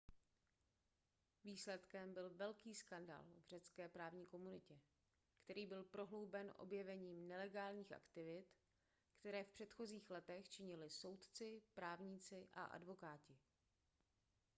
výsledkem byl velký skandál v řecké právní komunitě který byl prohlouben objevením nelegálních aktivit které v předchozích letech činili soudci právníci a advokáti